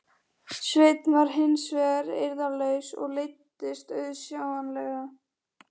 Sveinn var hins vegar eirðarlaus og leiddist auðsjáanlega.